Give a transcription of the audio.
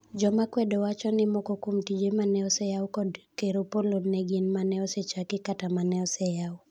Joma kwedo wacho ni moko kuom tije mane oseyaw kod Ker Opollo ne gin mane osechaki kata mane oseyaw